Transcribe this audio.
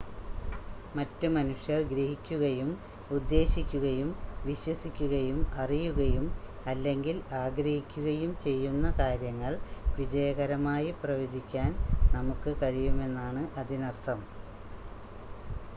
മറ്റ് മനുഷ്യർ ഗ്രഹിക്കുകയും ഉദ്ദേശിക്കുകയും വിശ്വസിക്കുകയും അറിയുകയും അല്ലെങ്കിൽ ആഗ്രഹിക്കുകയും ചെയ്യുന്ന കാര്യങ്ങൾ വിജയകരമായി പ്രവചിക്കാൻ നമുക്ക് കഴിയുമെന്നാണ് അതിനർത്ഥം